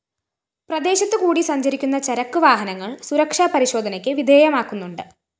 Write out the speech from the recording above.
പ്രദേശത്തു കൂടി സഞ്ചരിക്കുന്ന ചരക്ക് വാഹനങ്ങള്‍ സുരക്ഷാ പരിശോധനയ്ക്ക് വിധേയമാക്കുന്നുണ്ട്